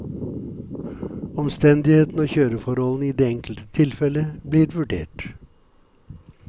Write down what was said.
Omstendighetene og kjøreforholdene i det enkelte tilfellet blir vurdert.